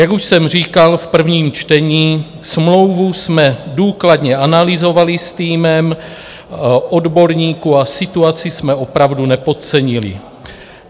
Jak už jsem říkal v prvním čtení, smlouvu jsme důkladně analyzovali s týmem odborníků a situaci jsme opravdu nepodcenili.